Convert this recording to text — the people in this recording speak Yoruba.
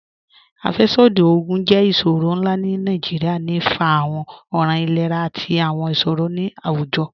Afẹ́ṣọdí ogun jẹ́ iṣọrọ̀ nlá ni Nigeria, ní fá àwọn ọ̀ràn ìlẹ̀rà àti àwọn iṣọrọ̀ ni awújọ̀.